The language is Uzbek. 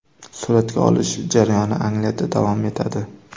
Suratga olish jarayoni Angliyada davom etadi.